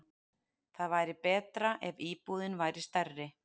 Það væri betra ef íbúðin væri stærri.